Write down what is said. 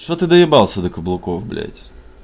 что ты доебался до каблуков блять